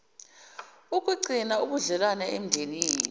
ukugcina ubudlelwano emndenini